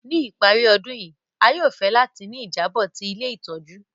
Ni ìparí ọdun yi, a yóò fẹ láti ni ìjábò ti ilé ìtójú